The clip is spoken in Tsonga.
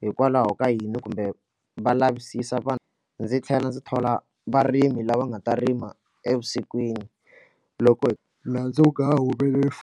hikwalaho ka yini kumbe va lavisisa vanhu ndzi tlhela ndzi thola varimi lava nga ta rima evusikwini loko nandzu wu nga ha humeleli .